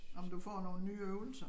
Om du får nogen nye øvelser